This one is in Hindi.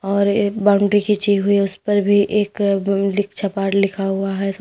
और एक बाउंड्री खींची हुई है उसपर भी एक लिख लिखा हुआ है।